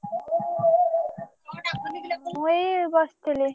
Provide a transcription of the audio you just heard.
ମୁ ଏଇ ବସିଥିଲି।